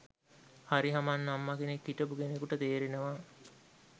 හරි හමන් අම්ම කෙනෙක් හිටපු කෙනෙකුට තේරෙනවා